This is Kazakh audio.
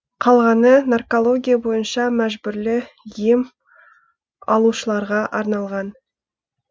қалғаны наркология бойынша мәжбүрлі ем алушыларға арналған